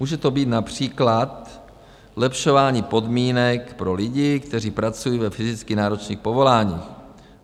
Může to být například zlepšování podmínek pro lidi, kteří pracují ve fyzicky náročných povoláních.